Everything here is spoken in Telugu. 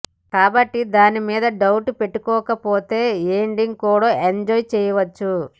కాబట్టి దాని మీద డౌట్ పెట్టుకోకపోతే ఎండింగ్ కూడా ఎంజాయ్ చేయచ్చు